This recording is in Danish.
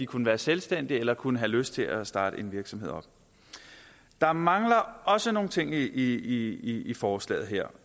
kunne være selvstændige eller som kunne have lyst til at starte en virksomhed op der mangler også nogle ting i i forslaget her